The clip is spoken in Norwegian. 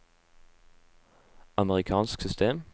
amerikansk system